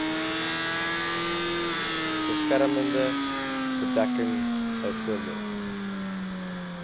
beskermende bedekking bv